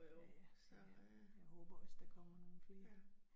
Ja ja, men jeg, jeg håber også der kommer nogle flere